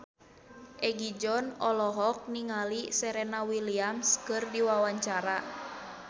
Egi John olohok ningali Serena Williams keur diwawancara